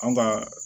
An ka